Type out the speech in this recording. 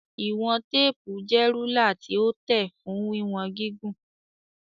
Ìwọ̀n téèpù jẹ́ rúlà tí ó tẹ̀ fún wíwọn gígùn.